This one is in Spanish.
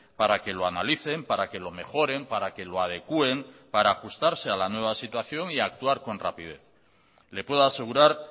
para que lo analicen para que lo mejoren para que lo adecuen para ajustarse a la nueva situación y actuar con rapidez le puedo asegurar